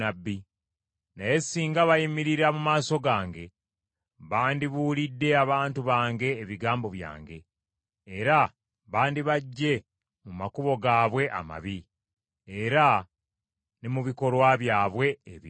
Naye singa bayimirira mu maaso gange, bandibuulidde abantu bange ebigambo byange, era bandibaggye mu makubo gaabwe amabi era ne mu bikolwa byabwe ebibi.